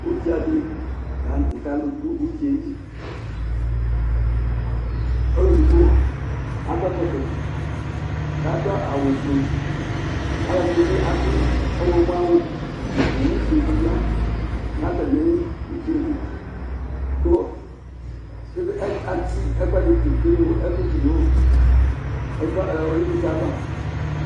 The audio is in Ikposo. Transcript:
Ʊɖza dilanʊtɛ kalʊ dʊ ʊɖza ƴɛlɩ Ɔlʊ ɛdigbo akʊɛkɔtɔ, kadʊ awʊ fue Alʊɛdinibi adʊ ɔwlɔmɔ awʊ Owʊ fue di ya natamɩ uɖza yelɩ ku atsɩ ɛkʊɛdɩtʊ keglo ɛkʊɛdi ya nu ɩvlɩava